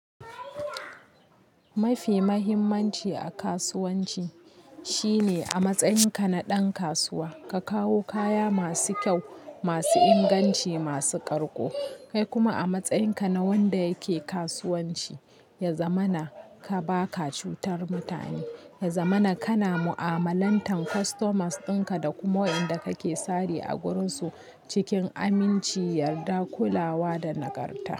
Mafi mahimmanci a kasuwanci shine a matsayinka na ɗan kasuwa ka kawo kaya masu kyau, masu inganci, masu ƙarƙo. Kai kuma a matsayinka na wanda yake kasuwanci, ya zamana ka ba ka cutar mutane, ya zamana kana mu'amalantar customers dinka da kuma wa'inda kake sari a guransu cikin aminci, yarda, kulawa da nagarta.